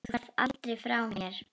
Þú ferð aldrei frá mér.